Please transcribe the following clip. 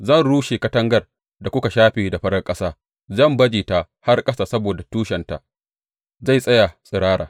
Zan rushe katangar da kuka shafe da farar ƙasa zan baje ta har ƙasa saboda tushenta zai tsaya tsirara.